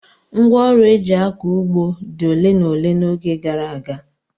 Ngwá ọrụ eji akọ ụgbọ dị ole na ole n'oge gara aga.